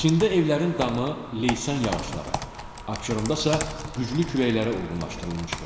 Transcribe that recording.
Çində evlərin damı leysan yağışlara, Abşeronda isə güclü küləklərə uyğunlaşdırılmışdır.